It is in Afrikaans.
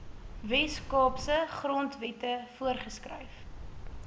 weskaapse grondwette voorgeskryf